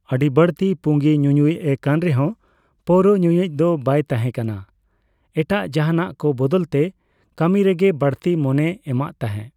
ᱟᱹᱰᱤ ᱵᱟᱹᱲᱛᱤ ᱯᱩᱸᱜᱤ ᱧᱩᱧᱩᱭᱤᱡ ᱮ ᱠᱟᱱ ᱨᱮᱦᱚᱸ ᱯᱟᱹᱣᱨᱟᱹ ᱧᱩᱧᱩᱭᱤᱡ ᱫᱚ ᱵᱟᱭ ᱛᱟᱸᱦᱮ ᱠᱟᱱᱟ, ᱮᱴᱟᱜ ᱡᱟᱸᱦᱟᱱᱟᱜ ᱠᱚ ᱵᱚᱫᱚᱞᱛᱮ ᱠᱟᱹᱢᱤ ᱨᱮᱜᱮ ᱵᱟᱹᱲᱛᱤ ᱢᱳᱱᱮ ᱮᱢᱟᱫ ᱛᱟᱸᱦᱮ ᱾